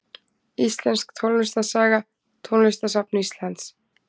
Íslensk tónlistarsaga Tónlistarsafn Íslands.